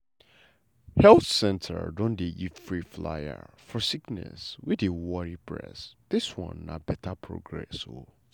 health center don dey give free flyer for sickness wey dey worry bress dis one na beta progress o.